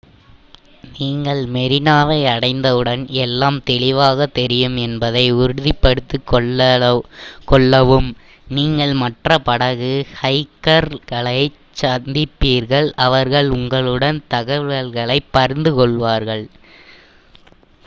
நீங்கள் மெரினாவை அடைந்தவுடன் எல்லாம் தெளிவாகத் தெரியும் என்பதை உறுதிப்படுத்திக்கொள்ளவும் நீங்கள் மற்ற படகு ஹைக்கர்களைச் சந்திப்பீர்கள் அவர்கள் உங்களுடன் தகவல்களைப் பகிர்ந்து கொள்வார்கள்